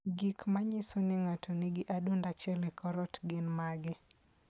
Gik manyiso ni ng'ato nigi adundo achiel e kor ot, gin mage?